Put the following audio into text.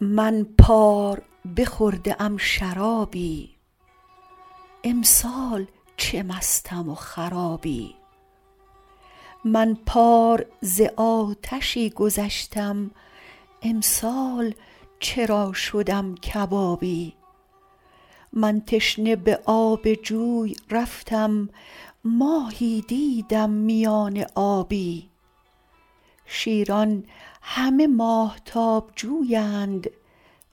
من پار بخورده ام شرابی امسال چه مستم و خرابی من پار ز آتشی گذشتم امسال چرا شدم کبابی من تشنه به آب جوی رفتم ماهی دیدم میان آبی شیران همه ماهتاب جویند